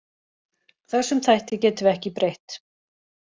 Þessum þætti getum við ekki breytt.